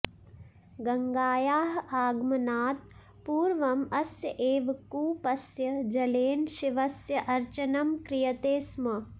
गङ्गायाः आगमनात् पूर्वम् अस्य एव कूपस्य जलेन शिवस्य अर्चनं क्रियते स्म